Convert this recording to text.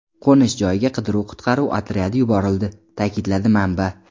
Qo‘nish joyiga qidiruv-qutqaruv otryadi yuborildi”, ta’kidladi manba.